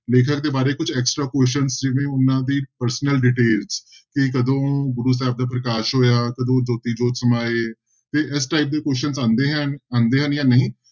ਲੇਖਕ ਦੇ ਬਾਰੇ ਕੁਛ extra questions ਜਿਵੇਂ ਉਹਨਾਂ ਦੇ personal details ਕਿ ਕਦੋਂ ਗੁਰੂ ਸਾਹਿਬ ਦਾ ਪ੍ਰਕਾਸ਼ ਹੋਇਆ, ਕਦੋਂ ਜੋਤੀ ਜੋਤ ਸਮਾਏ ਤੇ ਇਸ type ਦੇ question ਆਉਂਦੇ ਹੈ ਆਉਂਦੇ ਹਨ ਜਾਂ ਨਹੀਂ,